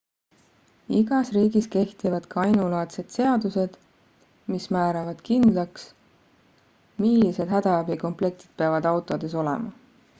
igas riigis kehtivad ka ainulaadsed seadused mis määravad kindlaks millised hädaabikomplektid peavad autodes olema